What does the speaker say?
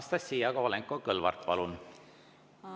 Anastassia Kovalenko‑Kõlvart, palun!